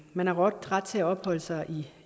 man har ret til at opholde sig